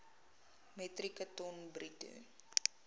metrieke ton bruto